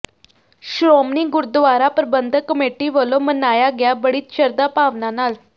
Shiromani Gurdwara Parbandhak Committee ਵੱਲੋਂ ਮਨਾਇਆ ਗਿਆ ਬੜੀ ਸ਼ਰਧਾ ਭਾਵਨਾ ਨਾਲ